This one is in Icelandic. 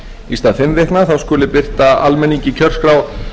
í stað fimm vikna þá skuli birta almenningi kjörskrá